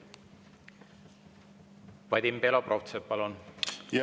Vadim Belobrovtsev, palun!